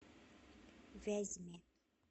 вязьме